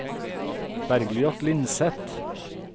Bergljot Lindseth